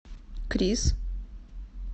крис